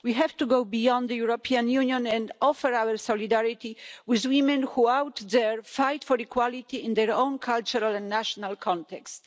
We have to go beyond the European Union and offer our solidarity to women who are out there fighting for equality in their own cultural and national context.